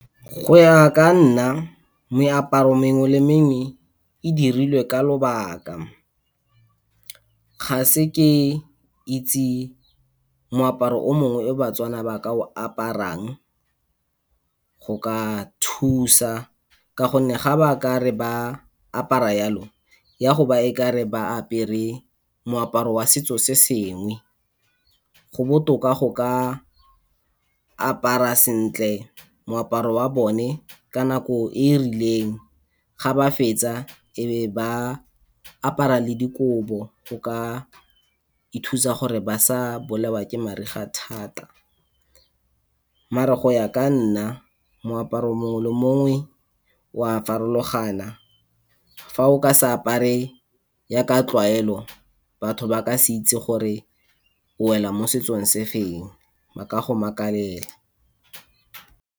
Go ya ka nna meaparo mengwe le mengwe e dirilwe ka lobaka. Ga ke se ke itse moaparo o mongwe o baTswana ba ka o aparang go ka thusa, ka gonne ga ba ka re ba apara yalo, e a go ba o ka re ba apere moaparo wa setso se sengwe. Go botoka go ka apara sentle moaparo wa bone ka nako e e rileng, ga ba fetsa e be ba apara le dikobo go ka ithusa gore ba sa bolawa ke mariga thata. Mara go ya ka nna moaparo mongwe le mongwe o a farologana, fa o ka seke wa apara yaka tlwaelo, batho ba ka se itse gore o wela mo setsong se se feng ba ka go makalela.